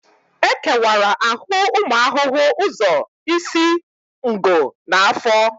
E kewara ahụ ụmụ ahụhụ ụzọ isi, ngụ na afọ